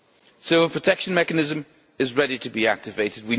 The civil protection mechanism is ready to be activated.